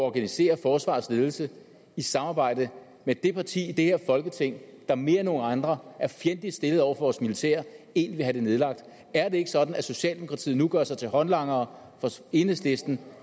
at organisere forsvarets ledelse i samarbejde med det parti i det her folketing der mere end nogen andre er fjendtligt stillet over for vores militær én vil have det nedlagt er det ikke sådan at socialdemokratiet nu gør sig til håndlangere for enhedslisten